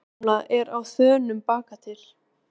Guðbjörg gamla er á þönum bakatil.